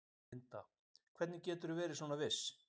Linda: Hvernig geturðu verið svona viss?